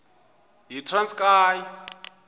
yitranskayi